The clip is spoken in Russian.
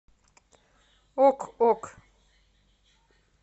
ок ок